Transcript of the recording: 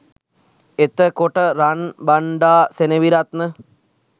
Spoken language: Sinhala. එතකොට රන්බණ්ඩා සෙනවිරත්න